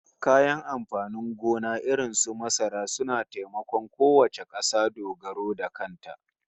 Kayan amfanin gona irin su masara suna taimakon kowace kasa dogaro da kanta